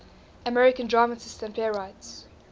american dramatists and playwrights